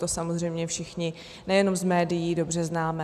To samozřejmě všichni nejenom z médií dobře známe.